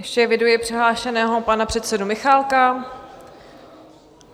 Ještě eviduji přihlášeného pana předsedu Michálka.